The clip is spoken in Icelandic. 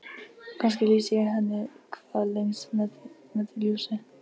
Og kannski lýsi ég henni hvað lengst með því ljósi.